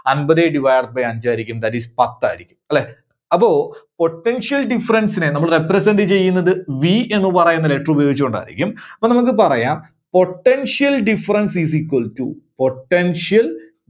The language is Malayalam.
അൻപതേ divided by അഞ്ച് ആയിരിക്കും. That is പത്ത് ആയിരിക്കും, അല്ലേ അപ്പോ Potential difference നെ നമ്മള് represent ചെയ്യുന്നത് V എന്ന് പറയുന്ന letter ഉപയോഗിച്ചുകൊണ്ടായിരിക്കും. അപ്പോൾ നമുക്ക് പറയാം Potential difference is equals to Potential